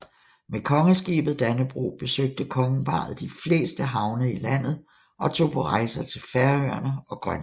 Med kongeskibet Dannebrog besøgte kongeparret de fleste havne i landet og tog på rejser til Færøerne og Grønland